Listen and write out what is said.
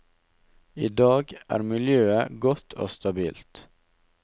I dag er miljøet godt og stabilt.